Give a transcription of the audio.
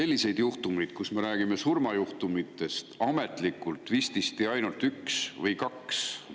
Me tegelikult räägime ametlikult vististi ainult ühest või kahest surmajuhtumist.